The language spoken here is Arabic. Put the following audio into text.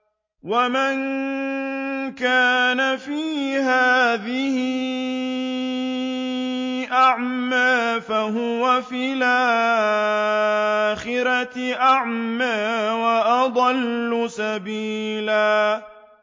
وَمَن كَانَ فِي هَٰذِهِ أَعْمَىٰ فَهُوَ فِي الْآخِرَةِ أَعْمَىٰ وَأَضَلُّ سَبِيلًا